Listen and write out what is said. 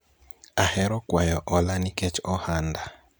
ahero kwayo ola nikech ohanda